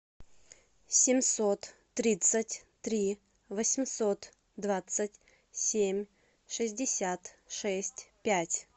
семьсот тридцать три восемьсот двадцать семь шестьдесят шесть пять